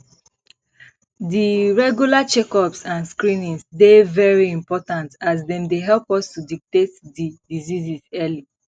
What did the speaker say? di regular checkups and screenings dey very important as dem dey help us to detect di diseases early